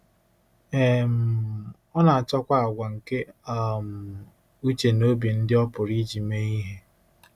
um Ọ na-achọkwa àgwà nke um uche na obi ndị ọ pụrụ iji mee ihe.